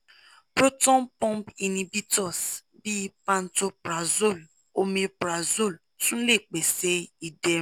proton pump inhibitors bi pantoprazole omeprazole tun le pese iderun